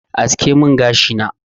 Aske min gashi na.